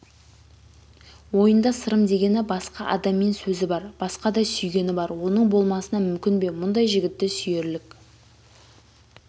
ойында сырым дегені басқа адаммен сөзі бар басқадасүйгені бар оның болмасына мүмкін бе мұндай жігітті сүйерлік